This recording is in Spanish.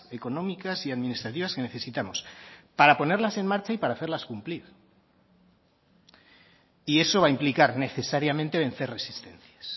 económicas y administrativas que necesitamos para ponerlas en marcha y para hacerlas cumplir y eso va a implicar necesariamente vencer resistencias